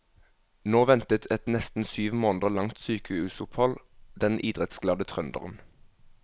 Nå ventet et nesten syv måneder langt sykehusopphold den idrettsglade trønderen.